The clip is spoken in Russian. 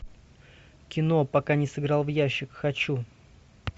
кино пока не сыграл в ящик хочу